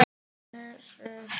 Og les upp.